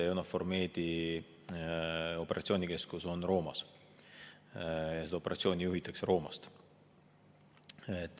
EUNAVFOR Medi operatsioonikeskus on Roomas ja operatsiooni juhitakse Roomast.